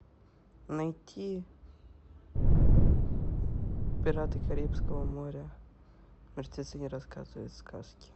найти пираты карибского моря мертвецы не рассказывают сказки